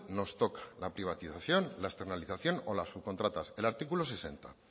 nos toca la privatización la externalización o la subcontratas el artículo sesenta